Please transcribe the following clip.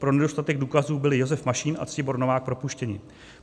Pro nedostatek důkazů byli Josef Mašín a Ctibor Novák propuštěni.